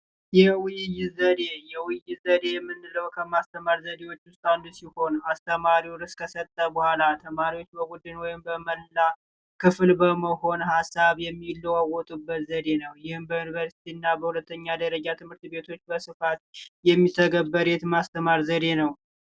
የውይይት ዘዴ፦ የውይይት ዘዴ የምንለው ከማስተማር ዘዴዎች ውስጥ አንዱ ሲሆን አስተማሪው ተናገረ በኋላ ተማሪዎች በመላው ወይም በቡድን በክፍል ውስጥ በመሆን ሀሳብ የሚለዋወጡበት ዘዴ ነው። ይህም በዩኒቨርሲቲና በሁለተኛ ደረጃ ትምህርት ቤቶች በስፋት የሚተግበር የማስተማር ዘዴ ነው።